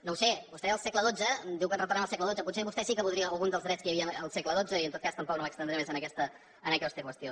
no ho sé vostè deia el segle xii diu que retornem al segle xii potser vostè sí que voldria algun dels drets que hi havia al segle xii i en tot cas tampoc no m’estendré més en aquesta qüestió